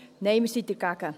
Nein, wir sind dagegen.